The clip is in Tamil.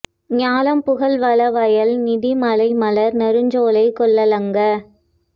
ஞாலம் புகழ் வள வயல் நதி மலை மலர் நறுஞ்சோலை கொள் லங்கா